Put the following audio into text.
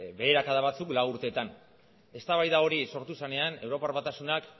beherakada batzuk lau urteetan eztabaida hori sortu zenean europar batasunak